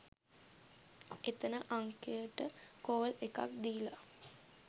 එතන අංකයට කෝල් එකක් දීල